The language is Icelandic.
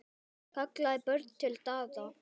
kallaði Björn til Daða.